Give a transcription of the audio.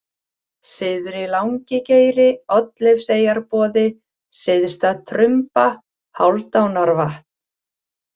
Syðri-Langigeiri, Oddleifseyjarboði, Syðsta-Trumba, Hálfdánarvatn